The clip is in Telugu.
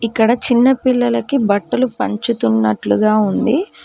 ఇక్కడ చిన్న పిల్లలకి బట్టలు పంచుతున్నట్లుగా ఉంది.